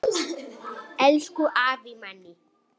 Hún var einstök perla.